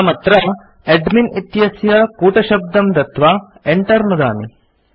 अहमत्र एडमिन् इत्यस्य कूटशब्दं दत्वा enter नुदामि